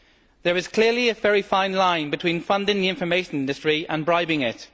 There is clearly a very fine line between funding the information industry and bribing it.